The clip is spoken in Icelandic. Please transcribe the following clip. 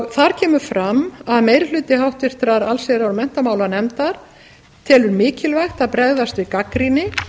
þar kemur fram að meiri hluti háttvirtrar allsherjar og menntamálanefndar telur mikilvægt að bregðast við gagnrýni